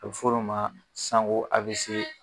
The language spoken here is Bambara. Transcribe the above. A bɛ fɔ o de ma ko AVC.